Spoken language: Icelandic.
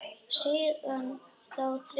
Síðan þá þriðju.